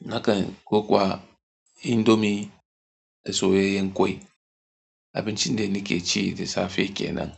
nakan ko kuwa indomi da soyayyen ƙwai. Abincin da nake ci da safe kenan.